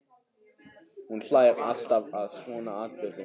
Hún hlær alltaf að svona atburðum.